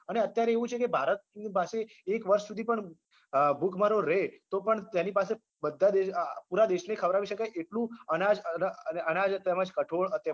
અને અત્યારે એવું છે કે ભારતની પાસે એક વર્ષ સુધી પણ અમ ભૂખમરો રે તોપણ તેની પાસે બધા દેશ અમ પુરા દેશને ખવડાવી શકાય એટલું અનાજ અન અનાજ તેમજ કઠોળ